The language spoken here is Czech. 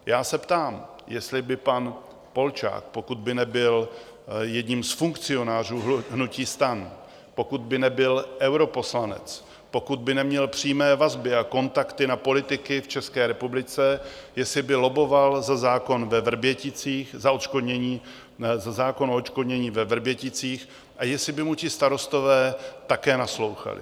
Já se ptám, jestli by pan Polčák, pokud by nebyl jedním z funkcionářů hnutí STAN, pokud by nebyl europoslanec, pokud by neměl přímé vazby a kontakty na politiky v České republice, jestli by lobboval za zákon o odškodnění ve Vrběticích a jestli by mu ti starostové také naslouchali?